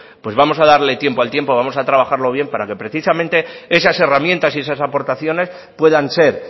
pues vamos a darle tiempo al tiempo vamos a trabajarlo bien para que precisamente esas herramientas y esas aportaciones puedan ser